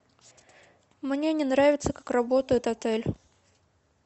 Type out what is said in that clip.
мне не нравится как работает отель